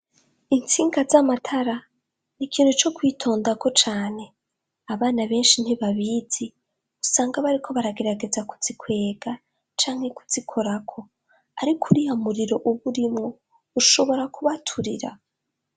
Intsinga z'amatara, ni ikintu co kwitondako cane. Abana benshi ntibabizi, usanga bariko baragerageza kuzikwega, canke kuzikorako. Ariko uriya muriro uba urimwo, ushobora kubaturira.